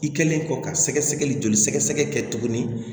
I kɛlen kɔ ka sɛgɛsɛgɛli joli sɛgɛsɛgɛ kɛ tuguni